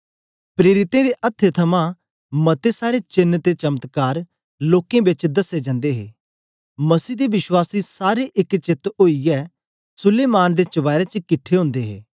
प्रेरितें दे अथ्थें थमां मते सारे चेन्न ते चमत्कार लोकें बेच दसे जंदे हे मसीह दे विश्वासी सारे एक चेत्त ओईयै सुलैमान दे चबारे च किट्ठे ओदे हे